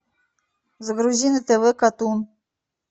загрузи на тв катун